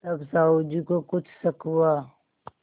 तब साहु जी को कुछ शक हुआ